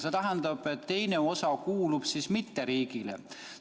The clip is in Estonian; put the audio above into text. See tähendab, et teine osa ei kuulu riigile.